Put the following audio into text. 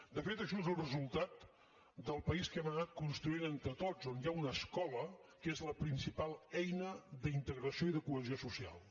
de fet això és el resultat del país que hem anat construint entre tots on hi ha una escola que és la principal eina d’integració i de cohesió social